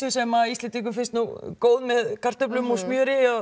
sem Íslendingum finnst góð með kartöflum og smjöri